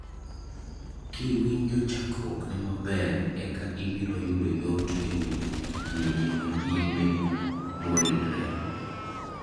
Kiwinjo chakruokne maber eka ibiro yudo yot ewinjo kidienje manyime moridre.